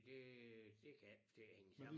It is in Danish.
Det øh det kan jeg ikke få til at hænge sammen